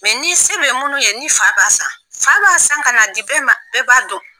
Mɛ ni se bɛ minnu ye ni fa b'a san, fa b'a san ka na di bɛɛ b'a m'an, bɛɛ b'a dɔn.